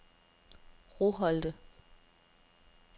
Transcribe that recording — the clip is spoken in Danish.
Roholte